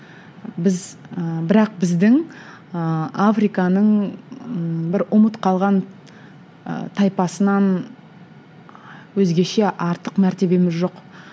біз ы бірақ біздің ыыы африканың ыыы бір ұмыт қалған ы тайпасынан өзгеше артық мәртебеміз жоқ